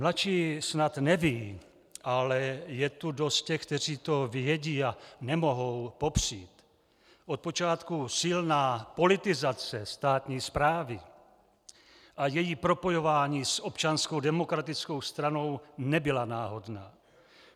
Mladší snad nevědí, ale je tu dost těch, kteří to vědí a nemohou popřít, od počátku silná politizace státní správy a její propojování s Občanskou demokratickou stranou nebyla náhodná.